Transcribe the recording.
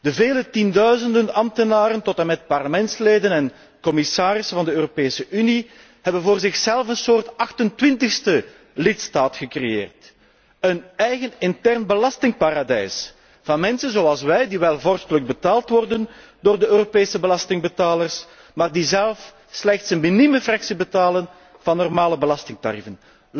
De vele tienduizenden ambtenaren tot en met parlementsleden en commissarissen van de Europese Unie hebben voor zichzelf een soort 28ste lidstaat gecreëerd, een eigen intern belastingparadijs van mensen zoals wij die wel vorstelijk betaald worden door de Europese belastingbetalers, maar die zelf slechts een minieme belasting betalen tegenover normale belastingtarieven.